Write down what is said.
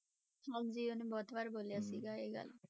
ਹਾਂਜੀ ਉਹਨੇ ਬਹੁਤ ਵਾਰ ਬੋਲਿਆ ਸੀਗਾ ਇਹ ਗੱਲ।